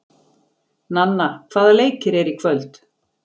Nanna, hvaða leikir eru í kvöld?